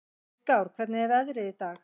Styrkár, hvernig er veðrið í dag?